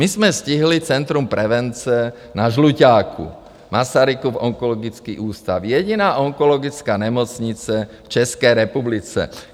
My jsme stihli centrum prevence na Žluťáku, Masarykův onkologický ústav, jediná onkologická nemocnice v České republice.